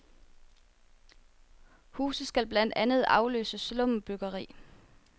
Huse skal blandt andet afløse slumbyggeri.